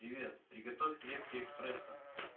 привет приготовь крепкий эспрессо